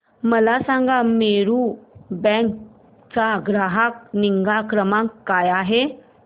मला सांगा मेरू कॅब चा ग्राहक निगा क्रमांक काय आहे